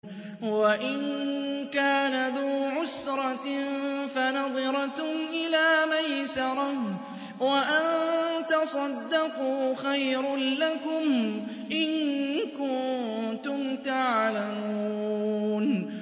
وَإِن كَانَ ذُو عُسْرَةٍ فَنَظِرَةٌ إِلَىٰ مَيْسَرَةٍ ۚ وَأَن تَصَدَّقُوا خَيْرٌ لَّكُمْ ۖ إِن كُنتُمْ تَعْلَمُونَ